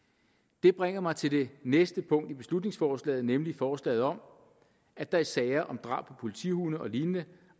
det bringer mig til det næste punkt i beslutningsforslaget nemlig forslaget om at der i sager om drab på politihunde og lignende